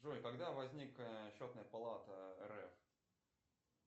джой когда возник счетная палата рф